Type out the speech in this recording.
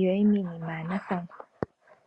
yoye miinima ya nathangwa.